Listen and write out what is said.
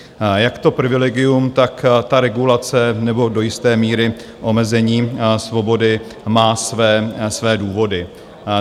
Jak to privilegium, tak ta regulace nebo do jisté míry omezení svobody má své důvody.